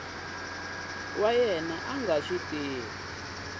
wa yena a nga swi